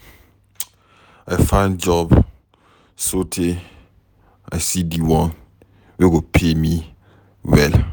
I find job sotee I see di one wey go pay me well.